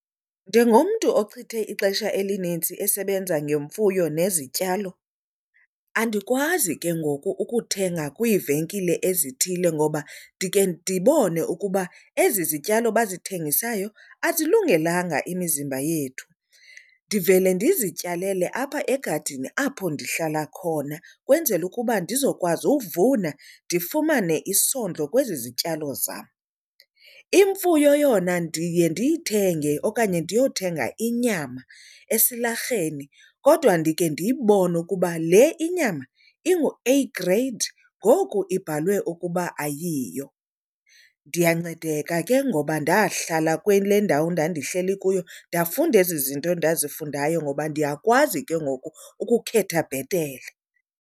Njengomntu ochithe ixesha elinintsi esebenza ngemfuyo nezityalo, andikwazi ke ngoku ukuthenga kwiivenkile ezithile ngoba ndikhe ndibone ukuba ezi zityalo bazithengisayo azilungelanga imizimba yethu. Ndivele ndizityalele apha egadini apho ndihlala khona, kwenzela ukuba ndizokwazi uvuna ndifumane isondlo kwezi zityalo zam. Imfuyo yona ndiye ndiyithenge okanye ndiyothenga inyama esilarheni kodwa ndikhe ndiyibone ukuba le inyama inguA-grade ngoku ibhalwe ukuba ayiyo. Ndiyancedeka ke ngoba ndahlala kule ndawo ndandihleli kuyo ndafunda ezi zinto ndazifunayo ngoba ndiyakwazi ke ngoku ukukhetha bhetele.